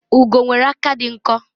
ugo nwere aka di nkọ